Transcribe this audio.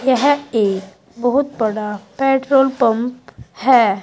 यह एक बहुत बड़ा पेट्रोल पंप है।